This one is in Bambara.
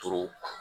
Toro